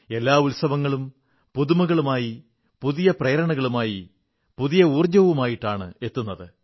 എല്ലാ ഉത്സവങ്ങളും പുതുമകളുമായി പുതിയ പ്രേരണകളുമായി പുതിയ ഊർജ്ജവുമായിട്ടാണ് എത്തുന്നത്